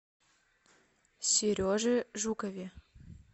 сереже жукове